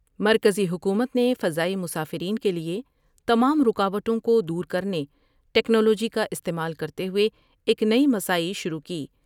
مرکزی حکومت نے فضائی مسافرین کے لیے تمام رکاوٹوں کو دور کر نے ٹکنالوجی کا استعمال کرتے ہوئے ایک نئی مساعی شروع کی ۔